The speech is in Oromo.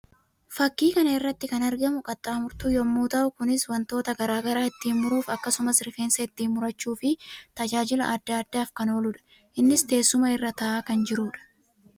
Fakkii kana irratti kan argamu qaxxaamurtuu yammuu ta'u; kunis wantoota garaa garaa ittiin muruuf akkasumas rifeensa ittiin murachuu fi tajaajila addaa addaaf kan ooluudha. Innis teessuma irra taa'aa kan jiruu dha.